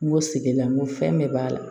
N go sege la n ko fɛn bɛɛ b'a la